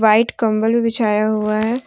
White कंबल भी बिछाया हुआ है ।